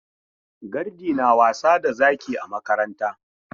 Gardi na wasa da zaki a makaranta.